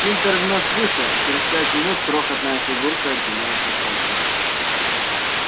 тинтер вновь вышел и через пять минут крохотная фигурка отделилась от толпы